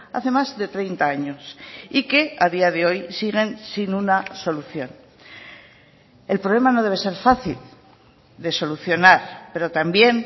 hace más de treinta años y que a día de hoy siguen sin una solución el problema no debe ser fácil de solucionar pero también